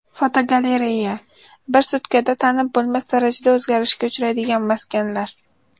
Fotogalereya: Bir sutkada tanib bo‘lmas darajada o‘zgarishga uchraydigan maskanlar.